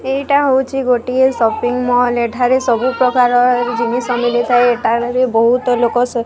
ଏଇଟା ହୋଉଛି ଗୋଟିଏ ସପିଙ୍ଗ ମଲ୍ । ଏଠାରେ ସବୁ ପ୍ରକାର ଜିନିଷ ମିଳିଥାଏ। ବହୁତ ଲୋକ --